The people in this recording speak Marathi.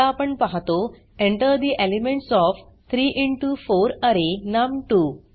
आता आपण पाहतो Enter the elements of 3 into 4 अरे नम2